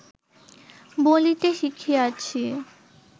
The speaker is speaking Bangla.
বলিতে শিখিয়াছি